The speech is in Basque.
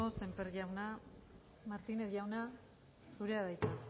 sémper jauna martinez jauna zurea da hitza